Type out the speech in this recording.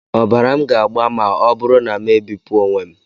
Ọbara m ga-agba ma ọ bụrụ na m ebipụ onwe m?